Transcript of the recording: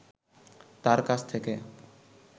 তাঁর কাছ থেকে